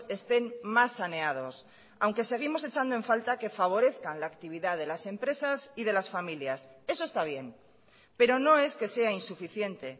estén más saneados aunque seguimos echando en falta que favorezcan la actividad de las empresas y de las familias eso está bien pero no es que sea insuficiente